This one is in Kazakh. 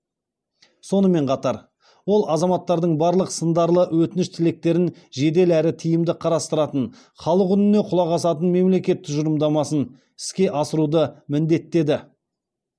сонымен қатар ол азаматтардың барлық сындарлы өтініш тілектерін жедел әрі тиімді қарастыратын халық үніне құлақ асатын мемлекет тұжырымдамасын іске асыруды міндеттеді